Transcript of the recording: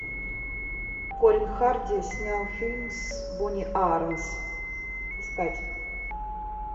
корин харди снял фильм с бонни ааронс искать